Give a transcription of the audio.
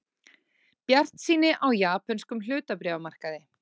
Bjartsýni á japönskum hlutabréfamarkaði